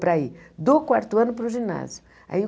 Para ir do quarto ano para o ginásio aí.